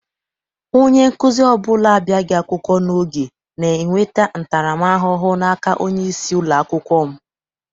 Onye nkụzi ọbụla abịaghị akwụkwọ n'oge na-enweta ntara m ahụhụ n'aka onyeisi ụlọakwụkwọ m.